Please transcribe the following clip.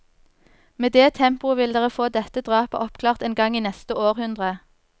Med det tempoet vil dere få dette drapet oppklart en gang i neste århundre!